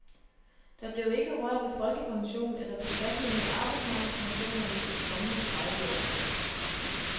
Der bliver ikke rørt ved folkepensionen eller beskatningen af arbejdsmarkedspensioner i de kommende tredive år.